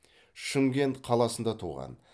шымкент қаласында туған